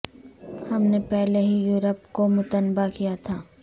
ہم نے پہلے ہی یورپ کو متنبہ کیا تھا